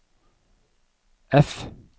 F